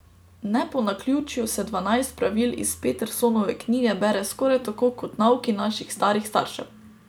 Ne po naključju se dvanajst pravil iz Petersonove knjige bere skoraj tako kot nauki naših starih staršev.